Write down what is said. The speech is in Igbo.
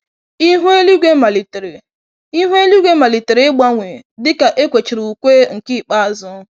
Ihu eluigwe malitere Ihu eluigwe malitere ịgbanwe dịka ekwechara ùkwè nke ikpeazụ